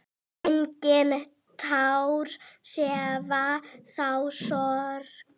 Engin tár sefa þá sorg.